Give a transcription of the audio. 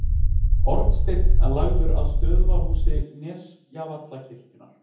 Hornsteinn lagður að stöðvarhúsi Nesjavallavirkjunar.